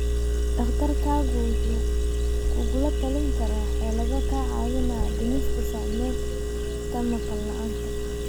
Dhakhtarkaagu wuxuu kugula talin karaa xeelado kaa caawinaya dhimista saamaynta maqal la'aanta.